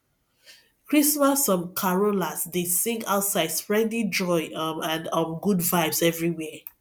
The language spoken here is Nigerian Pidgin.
christmas um carolers dey sing outside spreading joy um and um good vibes everywhere